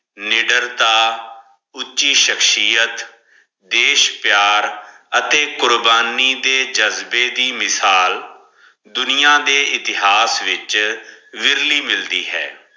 ਨਿਡਰਤਾ ਉੱਚੀ ਸ਼ਕ੍ਸ਼ਿਯਤ ਦੇਸ਼ ਪਿਯਾਰ ਅਤੇ ਕੁਰਬਾਨੀ ਦੇ ਜਜ਼ਬੇ ਦੀ ਮਿਸਾਲ ਦੁਨਿਆ ਦੇ ਇਤਹਾਸ ਵਿਚ ਵਿਰਲੀ ਮਿਲਦੀ ਹੈ